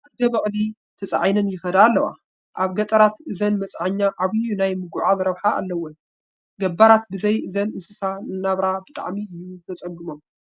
ኣድገ በቕሊ ተፃዒነን ይኸዳ ኣለዋ፡፡ ኣብ ገጠራት እዘን መፅዓኛ ዓብዪ ናይ ምጉዕዓዝ ረብሓ እዩ ዘለወን፡፡ ገባራት ብዘይ እዘን እንስሳ ናብራ ብጣዕሚ እዩ ዘፀግሞም፡፡